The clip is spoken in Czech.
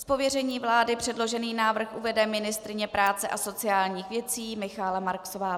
Z pověření vlády předložený návrh uvede ministryně práce a sociálních věcí Michaela Marksová.